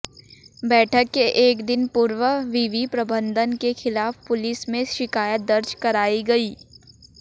बैठक के एक दिन पूर्व विवि प्रबंधन के खिलाफ पुलिस में शिकायत दर्ज कराई गई